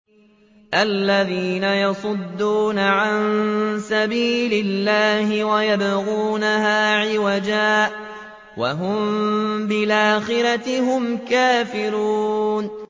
الَّذِينَ يَصُدُّونَ عَن سَبِيلِ اللَّهِ وَيَبْغُونَهَا عِوَجًا وَهُم بِالْآخِرَةِ هُمْ كَافِرُونَ